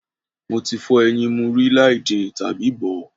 Mo ti fọ́ ẹyin mu rí láì din tàbí bọ̀ ọ́.